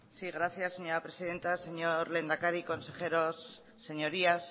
sí gracias señora presidenta señor lehendakari consejeros señorías